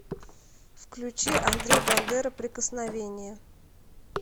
включи андрей бандера прикосновение